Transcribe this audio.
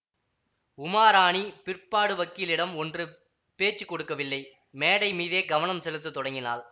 உமாராணி பிற்பாடு வக்கீலிடம் ஒன்றும் பேச்சு கொடுக்கவில்லை மேடை மீதே கவனம் செலுத்த தொடங்கினாள்